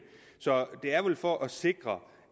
det er vel for at sikre